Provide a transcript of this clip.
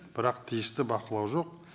бірақ тиісті бақылау жоқ